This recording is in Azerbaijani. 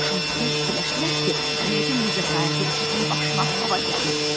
Şagirdlər fikirləşdilər ki, yəqin bu cəsarətli uşağın başına hava gəlib.